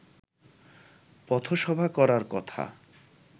পথসভা করার কথা